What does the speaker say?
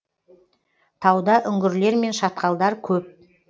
тауда үңгірлер мен шатқалдар көп